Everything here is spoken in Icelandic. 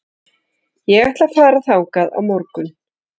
Ég ætla að fara þangað á morgun.